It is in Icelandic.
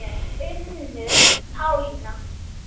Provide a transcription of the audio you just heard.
Unnur Pálína.